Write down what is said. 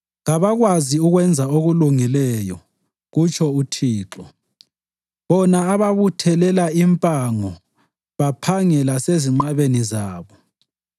“Kabakwazi ukwenza okulungileyo,” kutsho uThixo, “bona ababuthelela impango baphange lasezinqabeni zabo.”